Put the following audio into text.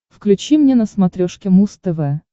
включи мне на смотрешке муз тв